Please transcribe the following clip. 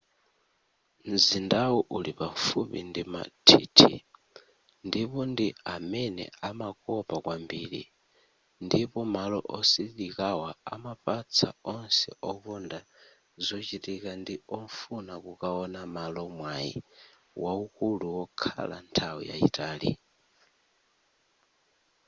mzindawu uli pafupi ndi mathithi ndipo ndi amene amakopa kwambiri ndipo malo osililikawa amapatsa onse okonda zochitika ndi ofuna kukawona malo mwayi wawukulu wokhala nthawi yayitali